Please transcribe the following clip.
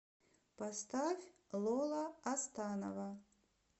поставь лола астанова